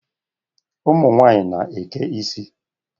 Ụmụ nwanyị na-eke ịsị